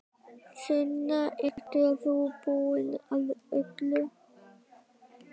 Sunna, ert þú búin að öllu?